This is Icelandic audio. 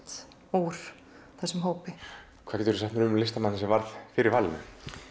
úr þessum hópi hvað geturðu sagt mér um listamanninn sem varð fyrir valinu